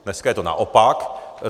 Dneska je to naopak.